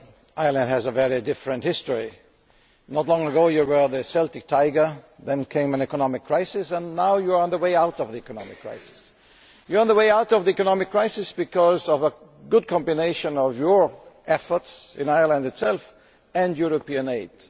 Ireland has a very different history. Not long ago you were the Celtic Tiger, then came an economic crisis and now you are on the way out of the economic crisis. You are on the way out of the economic crisis because of the positive combination of your efforts in Ireland and European aid.